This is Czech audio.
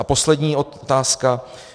A poslední otázka.